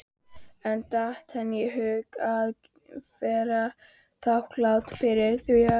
En datt henni í hug að vera þakklát fyrir það?